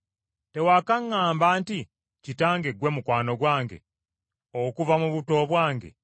Tewakaŋŋamba nti Kitange ggwe mukwano gwange okuva mu buto bwange,